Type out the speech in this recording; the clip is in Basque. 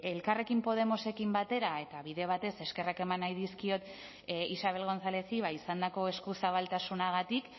elkarrekin podemosekin batera eta bide batez eskerrak eman nahi dizkiot isabel gonzálezi ba izandako eskuzabaltasunagatik